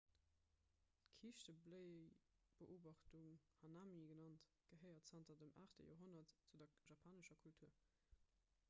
d'kiischtebléiebeobachtung hanami genannt gehéiert zanter dem 8 joerhonnert zu der japanescher kultur